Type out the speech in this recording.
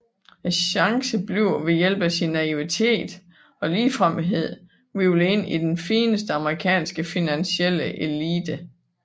Chance bliver ved hjælp af sin naivitet og ligefremhed hvirvlet ind i den fineste amerikanske finansielle elite